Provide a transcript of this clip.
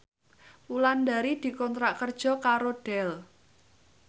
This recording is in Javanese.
Wulandari dikontrak kerja karo Dell